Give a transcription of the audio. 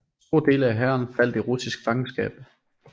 Store dele af hæren faldt i russisk fangenskab